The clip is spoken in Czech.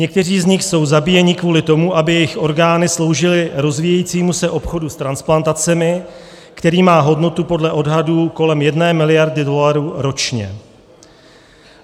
Někteří z nich jsou zabíjeni kvůli tomu, aby jejich orgány sloužily rozvíjejícímu se obchodu s transplantacemi, který má hodnotu podle odhadů kolem jedné miliardy dolarů ročně.